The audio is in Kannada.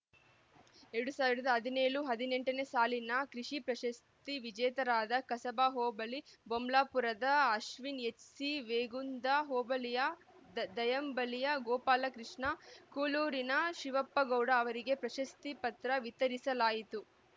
ಎರಡ್ ಸಾವಿರದ ಹದಿನೇಳು ಹದಿನೆಂಟನೇ ಸಾಲಿನ ಕೃಷಿ ಪ್ರಶಸ್ತಿ ವಿಜೇತರಾದ ಕಸಬಾ ಹೋಬಳಿ ಬೊಮ್ಲಾಪುರದ ಅಶ್ವಿನ್‌ ಎಚ್‌ಸಿ ಮೇಗುಂದ ಹೋಬಳಿಯ ದ ದಯಂಬಳ್ಳಿಯ ಗೋಪಾಲಕೃಷ್ಣ ಕೂಳೂರಿನ ಶಿವಪ್ಪಗೌಡ ಅವರಿಗೆ ಪ್ರಶಸ್ತಿ ಪತ್ರ ವಿತರಿಸಲಾಯಿತು